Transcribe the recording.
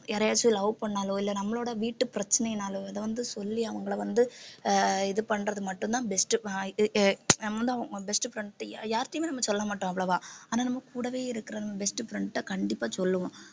யாரையாச்சும் love பண்ணாலோ இல்லை நம்மளோட வீட்டு பிரச்சனையினாலோ இதை வந்து சொல்லி அவங்களை வந்து ஆஹ் இது பண்றது மட்டும்தான் best நம்மதான் best friend யா~ யாருகிட்டயுமே நம்ம சொல்லமாட்டோம் அவ்வளவா ஆனா நம்ம கூடவே இருக்கிற best friend கிட்ட கண்டிப்பா சொல்லுவோம்